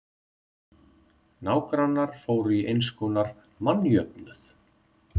Nágrannar fóru í einskonar mannjöfnuð.